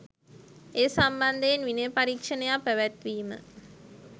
ඒ සම්බන්ධයෙන් විනය පරීක්ෂණයක් පැවැත්වීම